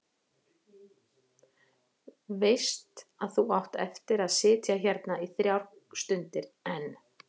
Veist að þú átt eftir að sitja hérna í þrjár stundir enn.